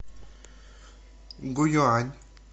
гуюань